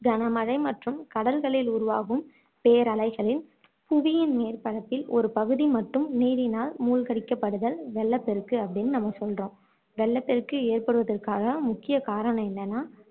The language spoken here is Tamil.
கனமழை மற்றும் கடல்களில் உருவாகும் பேரலைகளின் புவியின் மேற்பரப்பில் ஒரு பகுதி மட்டும் நீரினால் மூழ்கடிக்கப்படுதல் வெள்ளப்பெருக்கு அப்படின்னு நம்ம சொல்றோம் வெள்ளப் பெருக்கு ஏற்படுவதற்கு முக்கிய காரணம் என்னன்னா